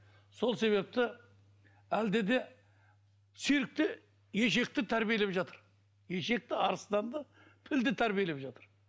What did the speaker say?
сол себепті әлде де циркте ешекті тәрбиелеп жатыр ешекті арыстанды пілді тәрбиелеп жатыр